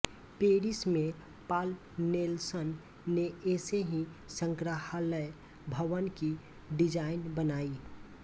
Paris में Paul Nelson ने ऐसे ही संग्रहालय भवन की डिजाइनें बनाईं